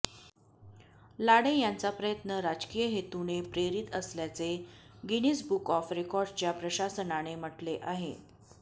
लाडे यांचा प्रयत्न राजकीय हेतूने प्रेरित असल्याचे गिनीज बुक ऑफ रेकॉर्डस्च्या प्रशासनाने म्हटले आहे